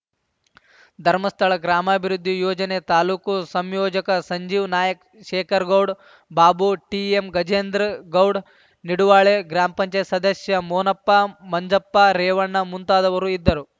ಧರ್ಮಸ್ಥಳ ಗ್ರಾಮಾಭಿವೃದ್ಧಿ ಯೋಜನೆ ತಾಲೂಕು ಸಂಯೋಜಕ ಸಂಜೀವ ನಾಯಕ್‌ ಶೇಖರಗೌಡ್ ಬಾಬು ಟಿಎಂ ಗಜೇಂದ್ರಗೌಡ್ ನಿಡುವಾಳೆ ಗ್ರಾಮ ಪಂಚಾಯತ್ ಸದಸ್ಯ ಮೋನಪ್ಪ ಮಂಜಪ್ಪ ರೇವಣ್ಣ ಮುಂತಾದವರು ಇದ್ದರು